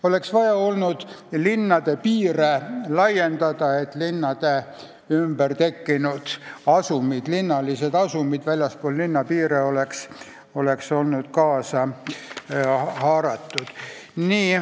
Oleks tulnud linnade piire laiendada, et nende ümber tekkinud asumid, linnalised asumid väljaspool linna piire oleks olnud kaasa haaratud.